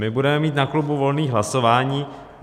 My budeme mít na klubu volné hlasování.